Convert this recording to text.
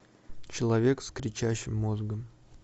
человек с кричащим мозгом